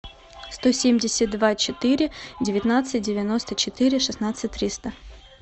сто семьдесят два четыре девятнадцать девяносто четыре шестнадцать триста